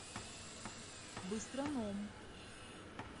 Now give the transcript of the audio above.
быстроном